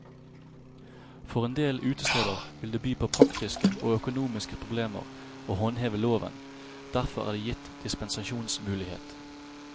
For en del utesteder vil det by på praktiske og økonomiske problemer å håndheve loven, derfor er det gitt dispensasjonsmulighet.